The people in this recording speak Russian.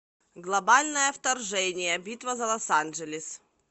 глобальное вторжение битва за лос анджелес